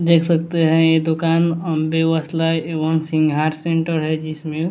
देख सकते हैं ये दुकान अंबे वस्लय एवं सिंघार सेंटर है जिसमें--